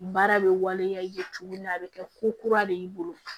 Baara bɛ waleya i ye cogo min na a bɛ kɛ ko kura de y'i bolo